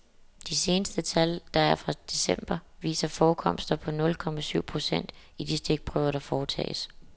De seneste tal, der er fra december, viser forekomster på nul komma syv procent i de stikprøver, der foretages.